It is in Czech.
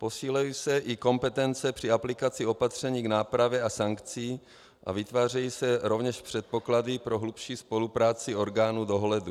Posilují se i kompetence při aplikaci opatření k nápravě a sankcí a vytvářejí se rovněž předpoklady pro hlubší spolupráci orgánů dohledu.